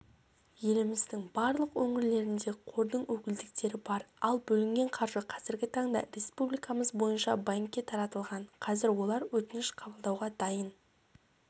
еліміздің барлық өңірлерінде қордың өкілдіктері бар ал бөлінген қаржы қазіргі таңда республикамыз бойынша банкке таратылған қазір олар өтініш қабылдауға дайын